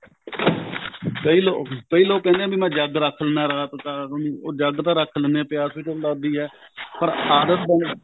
ਕਈ ਲੋਕ ਕਈ ਲੋਕ ਕਹਿੰਦੇ ਐ ਵੀ ਮੈਂ ਜੱਗ ਰੱਖ ਲਿੰਦਾ ਰਾਤ ਨੂੰ ਉਹ ਜੱਗ ਤਾਂ ਰੱਖ ਲਿੰਦਾ ਪਿਆਸ ਵੀ ਤਾਂ ਲੱਗਦੀ ਐ ਪਰ ਆਦਤ ਬੰਨ ਜਾਂਦੀ ਐ